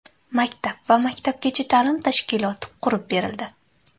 Maktab va maktabgacha ta’lim tashkiloti qurib berildi.